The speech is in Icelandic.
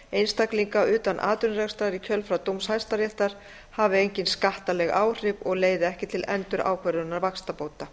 einstaklinga utan atvinnurekstrar í kjölfar dóms hæstaréttar hafi engin skattaleg áhrif og leiði ekki til endurákvörðunar vaxtabóta